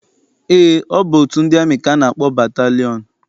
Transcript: Eé, ọ bụ otu ndị amị ka a na-akpọ batalịọn.